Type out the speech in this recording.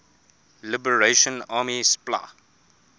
liberation army spla